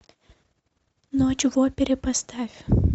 ночь в опере поставь